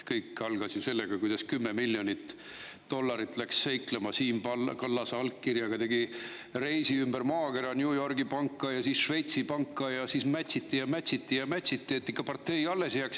Kõik algas ju sellest, et 10 miljonit dollarit läks seiklema ja Siim Kallase allkirjaga tegi reisi ümber maakera, läks New Yorgi panka ja siis Šveitsi panka ning siis mätsiti ja mätsiti ja mätsiti, et ikka partei alles jääks.